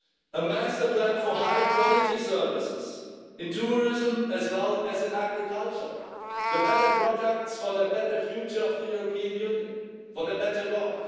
A master plan for high quality services, in tourism as well as in agriculture, for better products for a better future of the European Union, for a better world.